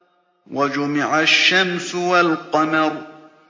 وَجُمِعَ الشَّمْسُ وَالْقَمَرُ